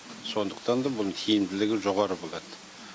сондықтан да бұның тиімділігі жоғары болады